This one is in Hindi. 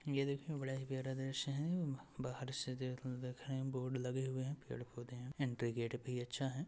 ये देखने में बड़ा ही प्यारा दृश्य है। ब बाहर से देखन देखने बोर्ड लगे हुए हैं। पेड़ पौधे हैं एंट्री गेट भी अच्छा है।